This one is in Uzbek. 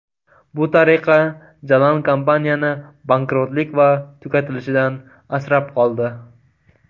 Bu tariqa Jalan kompaniyani bankrotlik va tugatilishidan asrab qoldi.